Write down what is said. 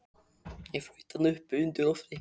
Ég flaut þarna uppi undir lofti.